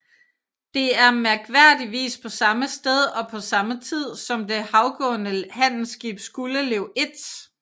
Det er mærkværdigvis på samme sted og på samme tid som det havgående handelsskib Skuldelev 1